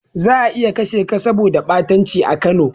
Za'a iya kashe ka saboda ɓatanci a Kano.